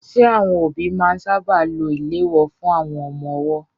Ṣé àwọn òbí máa ń sáábà lo ìléwọ́ fún àwọn ọmọ ọwọ́?